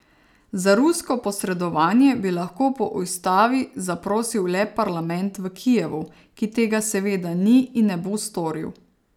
Za rusko posredovanje bi lahko po ustavi zaprosil le parlament v Kijevu, ki tega seveda ni in ne bo storil.